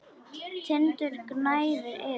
Tindur gnæfir yfir.